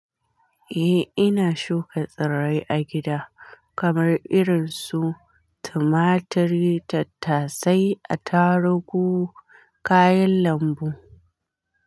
Eh, ina shuka tsirrai a gida kamar irin su tumaturi, tattasai, atarugu, kayan lambu.